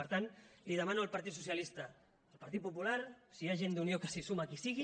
per tant demano al partit socialista al partit popular si hi ha gent d’unió que s’hi suma que hi sigui